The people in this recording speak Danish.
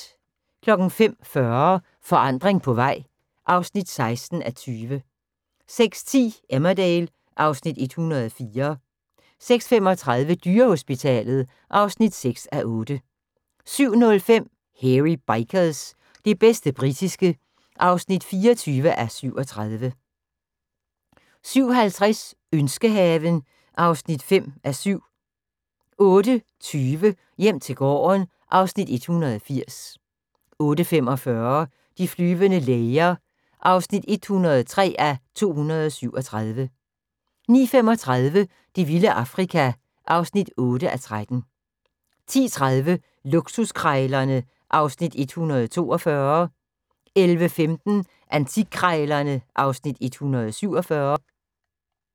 05:40: Forandring på vej (16:20) 06:10: Emmerdale (Afs. 104) 06:35: Dyrehospitalet (6:8) 07:05: Hairy Bikers – det bedste britiske (24:37) 07:50: Ønskehaven (5:7) 08:20: Hjem til gården (Afs. 180) 08:45: De flyvende læger (103:237) 09:35: Det vilde Afrika (8:13) 10:30: Luksuskrejlerne (Afs. 142) 11:15: Antikkrejlerne (Afs. 147)